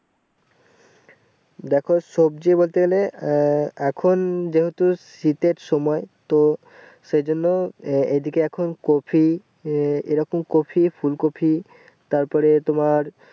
দেখো সবজি বলতে গেলে আহ এখন যেহুতু শীতের সময় তো সেই জন্য এ এইদিকে এখন কপি এ এরকম কপি ফুলকপি তারপরে তোমার